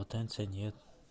потенция нет